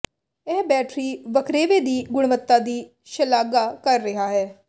ਇਹ ਬੈਟਰੀ ਵੱਖਰੇਵੇ ਦੀ ਗੁਣਵੱਤਾ ਦੀ ਸ਼ਲਾਘਾ ਕਰ ਰਿਹਾ ਹੈ